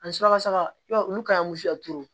Ani suraka i b'a ye olu ka ɲi